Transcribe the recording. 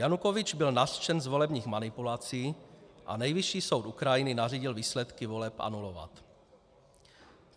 Janukovyč byl nařčen z volebních manipulací a Nejvyšší soud Ukrajiny nařídil výsledky voleb anulovat.